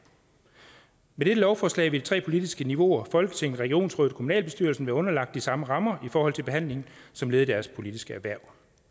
med dette lovforslag vil tre politiske niveauer folketinget regionsrådet og kommunalbestyrelsen være underlagt de samme rammer i forhold til behandlingen som led i deres politiske hverv